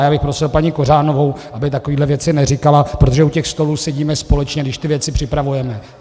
A já bych prosil paní Kořánovou, aby takové věci neříkala, protože u těch stolů sedíme společně, když ty věci připravujeme.